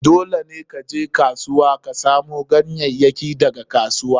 Dole ne ka je kasuwa ka samu ganyayyakin daga kasuwa.